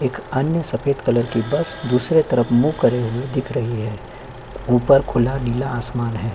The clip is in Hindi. एक अन्य सफेद कलर की बस दूसरे तरफ मुह करे दिख रही हैं ऊपर खुला आसमान हैं।